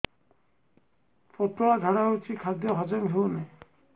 ପତଳା ଝାଡା ହେଉଛି ଖାଦ୍ୟ ହଜମ ହେଉନାହିଁ